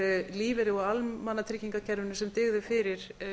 lífeyri úr almannatryggingakerfinu sem dygði fyrir